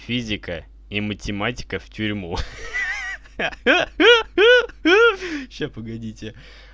физика и математика в тюрьму ха-ха сейчас погодите